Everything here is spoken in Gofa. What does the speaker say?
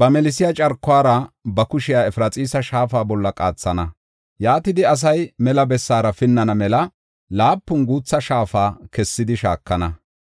ba melsiya carkuwara ba kushiya Efraxiisa shaafa bolla qaathana. Yaatidi asay mela bessaara pinnana mela laapun guutha shaafa kessidi shaakana.